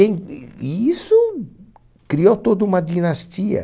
e isso criou toda uma dinastia.